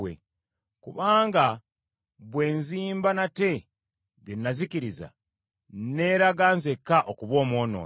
Kubanga bwe nzimba nate bye nazikiriza, nneeraga nzekka okuba omwonoonyi.